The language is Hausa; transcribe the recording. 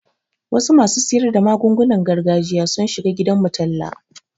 Wasu masu siyar da magungunan gargajiya sun shiga gidanmu talla.